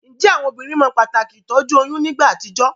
Njé àwon obínrin mo pàtàkì ìtójú oyún nígbà àtijó?